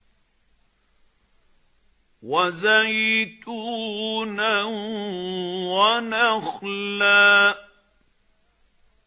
وَزَيْتُونًا وَنَخْلًا